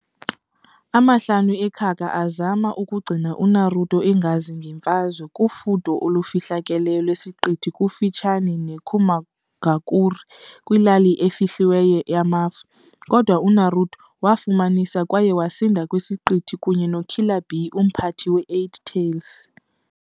Amahlanu eKaga azama ukugcina uNaruto, engazi ngemfazwe, kufudo olufihlakeleyo lwesiqithi kufutshane neKumogakure, kwilali efihliweyo yamafu, kodwa uNaruto wafumanisa kwaye wasinda kwisiqithi kunye noKiller Bee, umphathi wee-Eight-Tails.